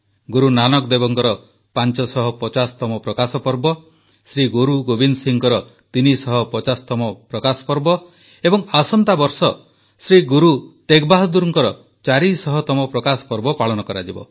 ଗୁରୁ ନାନକ ଦେବଙ୍କର 550ତମ ପ୍ରକାଶପର୍ବ ଶ୍ରୀଗୁରୁଗୋବିନ୍ଦ ସିଂଙ୍କର 350ତମ ପ୍ରକାଶପର୍ବ ଏବଂ ଆସନ୍ତାବର୍ଷ ଶ୍ରୀ ଗୁରୁ ତେଗ ବାହାଦୂରଙ୍କର 400ତମ ପ୍ରକାଶପର୍ବ ପାଳନ କରାଯିବ